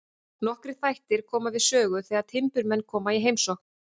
Nokkrir þættir koma við sögu þegar timburmenn koma í heimsókn.